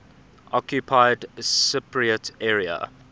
occupied cypriot area